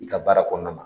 I ka baara kɔnɔna na